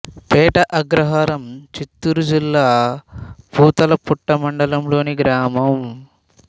పేట అగ్రహారం చిత్తూరు జిల్లా పూతలపట్టు మండలం లోని గ్రామం